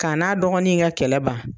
K'a n'a dɔgɔnin in ka kɛlɛ ban.